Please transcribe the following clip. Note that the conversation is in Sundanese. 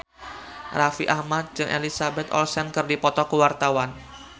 Raffi Ahmad jeung Elizabeth Olsen keur dipoto ku wartawan